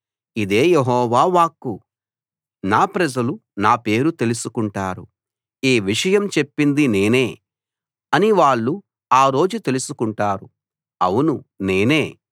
ఇదే యెహోవా వాక్కు నా ప్రజలు నా పేరు తెలుసుకుంటారు ఈ విషయం చెప్పింది నేనే అని వాళ్ళు ఆ రోజు తెలుసుకుంటారు ఔను నేనే